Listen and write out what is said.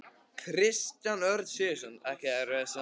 Kristján Örn Sigurðsson Ekki erfiðasti andstæðingur?